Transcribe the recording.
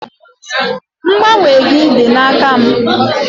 Mgbanwe gị dị n'aka m.